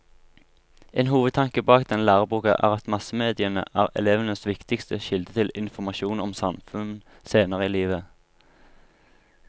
En hovedtanke bak denne læreboka er at massemediene er elevenes viktigste kilde til informasjon om samfunnet senere i livet.